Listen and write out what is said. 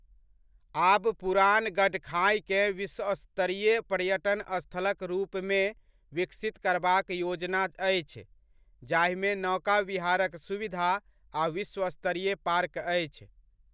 आब पुरान गडखाइकेँ विश्वस्तरीय पर्यटन स्थलक रूपमे विकसित करबाक योजना अछि, जाहिमे नौका विहारक सुविधा आ विश्वस्तरीय पार्क अछि।